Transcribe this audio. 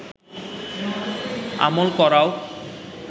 আমল করাও